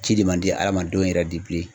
Ci de man di hadamadenw yɛrɛ de bilen.